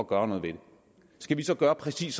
gøre noget ved det skal vi så gøre præcis